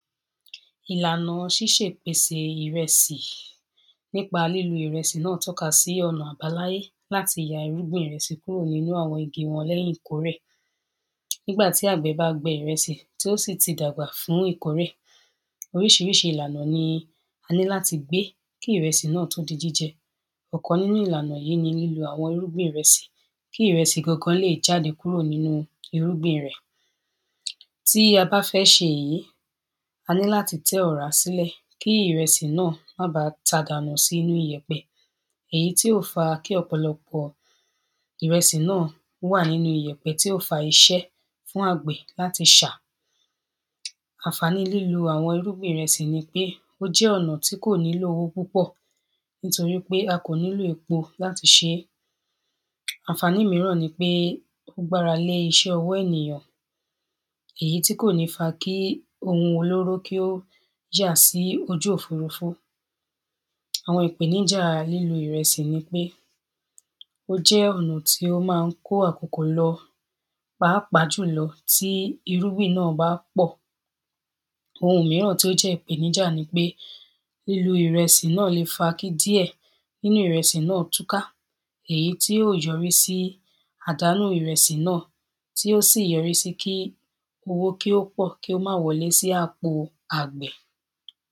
Ìlànà ṣíṣè’pèsè ìrẹsì nípa lílo ìrẹsì náà tọ́ka sí ọ̀nà àbáláyé láti ya irúgbìn ìrẹsì kúrò nínú àwọn igi wọn lẹ́yìn ìkórè nígbà tí àgbẹ̀ bá gbin ìrẹsì tí ó sì ti dàgbà fún ìkórè oríṣiríṣi ìlànà ni a ní láti gbé kí ìrẹsì náà tó di jíjẹ ọ̀kan nínú ìlànà yìí ni lílo àwọn irúgbìn ìrẹsì kí ìrẹsì gangan lè jáde kúrò nínú irúgbìn rẹ̀ tí a bá fẹ́ ṣe èyí a ní láti tẹ́ ọ̀rá sílẹ̀ kí ìrẹsì náà má baà ta dànù sínú iyẹ̀pẹ̀ èyí tí yó fa kí ọ̀pọ̀lọpọ̀ ìrẹsì náà wà nínú iyẹ̀pẹ̀ tí yó fa iṣẹ́ fún àgbẹ̀ láti ṣà àǹfàní lílo àwọn irúgbìn ìrẹsì ní pé ó jẹ́ ọ̀nà tí kò nílò owó púpọ̀ nítorí pé a kò nílò epo láti ṣe é àǹfàní mìíràn ni pé ó gbara lé iṣẹ́ ènìyàn èyí ti kò ní fa kí ohun olóró kí ó yà sí ojú òfurufú àwọn ìpèníjà lílo ìrẹsì ní pé ó jẹ́ ọ̀nà tí ó máa ń kó àkokò lọ Pàápàá jùlọ tí irúgbìn náà bá pọ̀ ohun mìíràn tó jẹ́ ìpèníjà ni pé lílo ìrẹsì náà le fa kí díẹ̀ nínú ìrẹsì náà túka èyí tí yóò yọrí sí àdánù ìrẹsì náà tí ó sì yọrí sí kí owó kí o pọ̀ kí ó má wọlé sí àpò àgbẹ̀